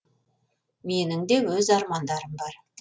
менің де өз армандарым бар